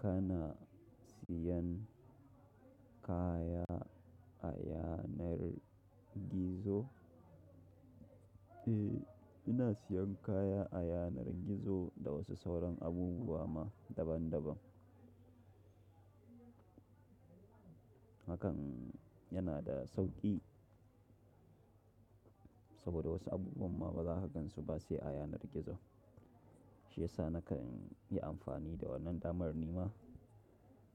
Kana siyan kaya a yanar gizo? Eh ina siyan kaya a yanar gizo da wasu sauran abubuwa ma daban daban. Hakan yana da sauƙi saboda wasu abubuwan ma bazaka gansu ba sai a yanar gizon. Shiyasa na kanyi amfani da wannan damar nima